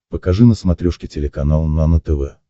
покажи на смотрешке телеканал нано тв